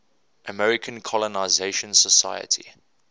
american colonization society